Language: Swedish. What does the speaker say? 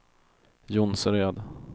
Jonsered